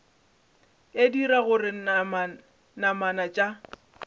e dira gore namana tša